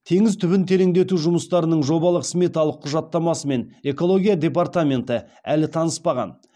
теңіз түбін тереңдету жұмыстарының жобалық сметалық құжаттамасымен экология департаменті әлі таныспаған